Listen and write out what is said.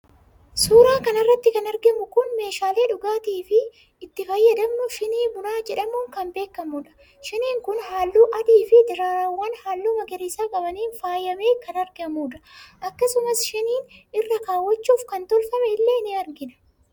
suuraa kana irratti kan argamu kun meeshaalee dhugaatiif itti fayyadamnu shinii bunaa jedhamuun kan beekamudha. shiniin kun halluu adiifi daraaraawwan halluu magariisa qabaniin faayamee kan argamudha. akkasumas shinii irra kaawwachuuf kan tolfame illee ni argina.